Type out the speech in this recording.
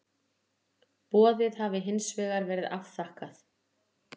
Boðið hafi hins vegar verið afþakkað